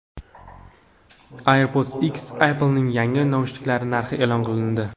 AirPods X: Apple’ning yangi naushniklari narxi e’lon qilindi.